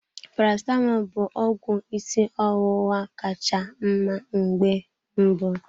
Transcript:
Paracetamọl bụ ọgwụ ịsị ọwụwa ka cha mma mgbe mbụ.